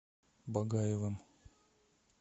багаевым